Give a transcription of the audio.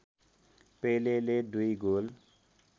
पेलेले दुई गोल